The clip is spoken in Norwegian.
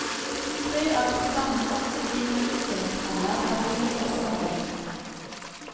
Tre av til sammen åtte digre utstillingshaller er viet personbilene.